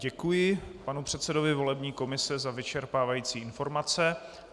Děkuji panu předsedovi volební komise za vyčerpávající informace.